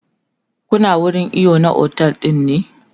Kuna wurin iyo na otel ɗin ne?